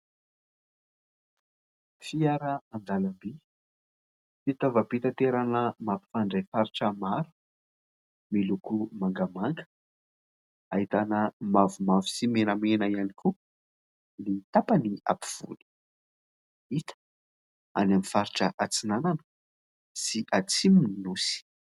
Fiaran-dalam-by fitaovam-pitaterana mampifandray faritra maro. Miloko mangamanga ahitana mavomavo sy menamena ihany koa ny tapany apovoany. Hita any amin'ny faritra atsinanana sy atsimon'ny nosy.